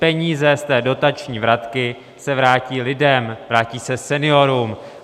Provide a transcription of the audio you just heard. Peníze z té dotační vratky se vrátí lidem, vrátí se seniorům.